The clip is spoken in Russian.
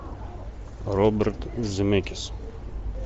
роберт земекис